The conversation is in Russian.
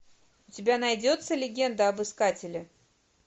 у тебя найдется легенда об искателе